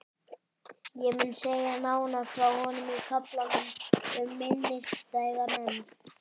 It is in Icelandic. Ég mun segja nánar frá honum í kaflanum um minnisstæða menn.